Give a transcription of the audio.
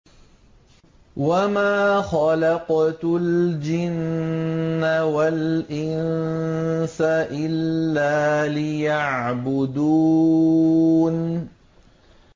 وَمَا خَلَقْتُ الْجِنَّ وَالْإِنسَ إِلَّا لِيَعْبُدُونِ